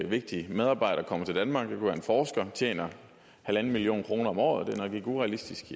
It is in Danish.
vigtig medarbejder kommer til danmark være en forsker tjener en million kroner om året det er nok ikke urealistisk